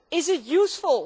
Is it useful?